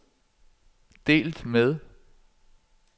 delt med